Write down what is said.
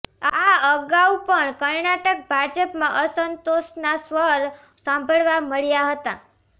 આ અગાઉ પણ કર્ણાટક ભાજપમાં અસંતોષના સ્વર સાંભળવા મળ્યા હતા